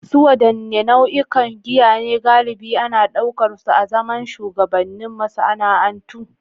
Su wadanne nau'ikan giya ne galibi ana daukar su azaman shugabannin masana'antu?